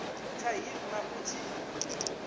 tsha hiv na u tshi